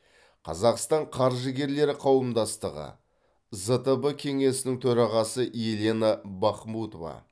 қазақстан қаржыгерлері қауымдастығы зтб кеңесінің төрағасы елена бахмутова